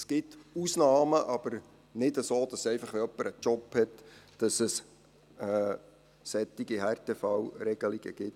Es gibt Ausnahmen, aber nicht so, dass es, wenn jemand einen Job hat, einfach solche Härtefallregelungen gibt.